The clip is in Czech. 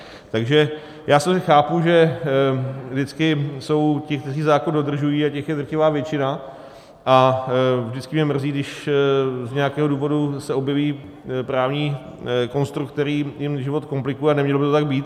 Takže já sice chápu, že vždycky jsou ti, kteří zákon dodržují, a těch je drtivá většina, a vždycky mě mrzí, když z nějakého důvodu se objeví právní konstrukt, který jim život komplikuje, a nemělo by to tak být.